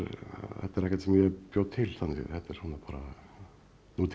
þetta er ekkert sem ég bjó til þetta er bara nútíma